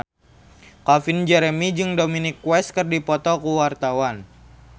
Calvin Jeremy jeung Dominic West keur dipoto ku wartawan